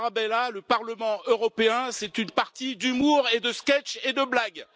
Tarabella, le Parlement européen, c'est une partie d'humour, de sketches et de blagues.